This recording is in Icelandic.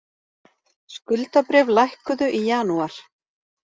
Skuldabréf lækkuðu í janúar